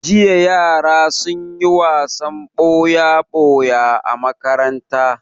Jiya yara sun yi wasan ɓoya-ɓoya a makaranta.